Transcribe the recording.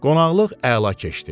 Qonaqlıq əla keçdi.